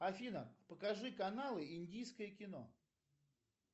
афина покажи каналы индийское кино